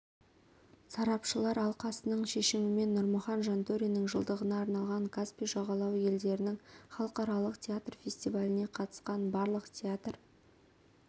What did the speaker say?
сарапшылар алқасының шешімімен нұрмұхан жантөриннің жылдығына арналған каспий жағалауы елдерінің халықаралық театр фестиваліне қатысқан барлық театр